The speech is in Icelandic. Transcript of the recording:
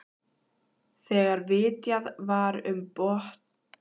Þegar vitjað var um botnnetin var farið á mótorbát frá